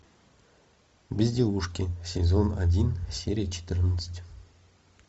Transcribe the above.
безделушки сезон один серия четырнадцать